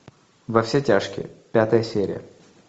во все тяжкие пятая серия